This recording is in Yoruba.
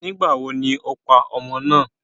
Ìgbà wo ni o pa ọmọ ná?